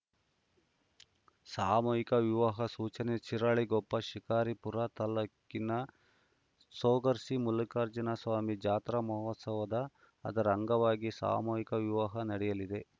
ಸಾಮೂಹಿಕ ವಿವಾಹ ಸೂಚನೆ ಶಿರಾಳಕೊಪ್ಪ ಶಿಕಾರಿಪುರ ತಾಲೂಕಿನ ತೊಗರ್ಸಿ ಮಲ್ಲಿಕಾರ್ಜುನ ಸ್ವಾಮಿ ಜಾತ್ರಾ ಮಹೋತ್ಸವದ ಅದರ ಅಂಗವಾಗಿ ಸಾಮೂಹಿಕ ವಿವಾಹ ನಡೆಯಲಿದೆ